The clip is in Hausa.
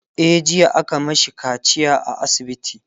e jiya aka mashi kaciya a asibiti